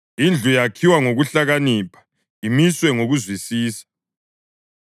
Indlu yakhiwa ngokuhlakanipha, imiswe ngokuzwisisa;